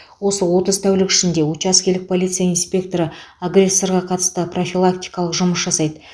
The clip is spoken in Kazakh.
осы отыз тәулік ішінде учаскелік полиция инспекторы агрессорға қатысты профилактикалық жұмыс жасайды